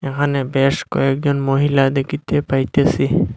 এহানে বেশ কয়েকজন মহিলা দেখিতে পাইতেসি।